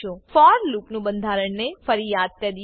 four લૂપનું બંધારણને ફરી યાદ કરીએ